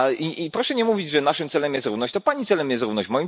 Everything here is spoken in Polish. I proszę nie mówić, że naszym celem jest równość, to Pani celem jest równość.